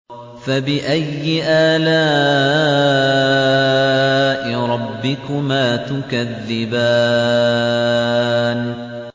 فَبِأَيِّ آلَاءِ رَبِّكُمَا تُكَذِّبَانِ